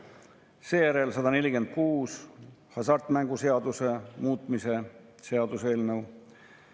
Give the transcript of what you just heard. Nii et sõltuvalt inimese tarbimisharjumustest ei ole liialdus öelda, et inimeste palgafondist võib minna rahulikult 70–80% erinevate maksudena, otseste ja kaudsete maksudena riigile, avalikule võimule.